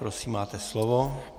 Prosím, máte slovo.